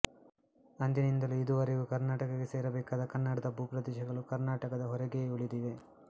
ಅಂದಿನಿಂದಲೂ ಇದುವರೆಗೂ ಕರ್ನಾಟಕಕ್ಕೆ ಸೇರಬೇಕಾದ ಕನ್ನಡದ ಭೂಪ್ರದೇಶಗಳು ಕರ್ನಾಟಕದ ಹೊರಗೇ ಉಳಿದಿವೆ